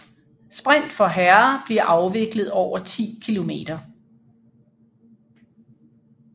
Sprint for herrer bliver afviklet over 10 km